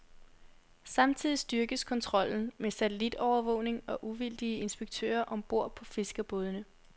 Samtidig styrkes kontrollen med satellitovervågning og uvildige inspektører om bord på fiskerbådene.